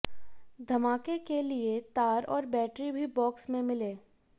धमाके के लिए तार और बैटरी भी बॉक्स में मिले